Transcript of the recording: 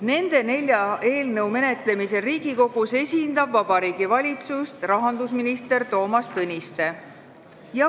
Nende nelja eelnõu menetlemisel Riigikogus esindab Vabariigi Valitsust rahandusminister Toomas Tõniste.